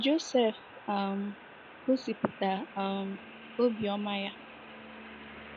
Josef um gosipụta um obiọma ya. ya.